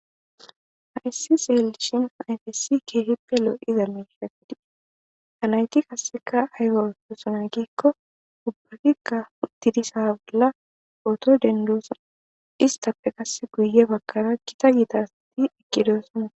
Haissi xeelishin ayfessi keehippe loo iza meishafidie anayti kaseka aygasunan giikko ubbakikka uttidisa bolla oto dendoosan istappe kasse guye bagkaraa kita giitaasati ekkidoosama.